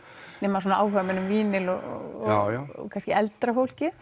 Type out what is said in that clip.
nema svona áhugamenn um vínyl og kannski eldra fólkið